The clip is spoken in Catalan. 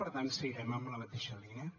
per tant seguirem en la mateixa línia